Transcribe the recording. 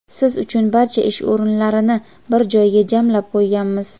Siz uchun barcha ish o‘rinlarini bir joyga jamlab qo‘yganmiz.